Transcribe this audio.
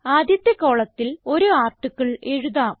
ആദ്യത്തെ കോളത്തിൽ ഒരു ആർട്ടിക്കിൾ എഴുതാം